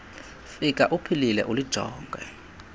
fika uphilile lijonge